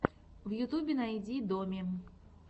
в ютюбе найди доми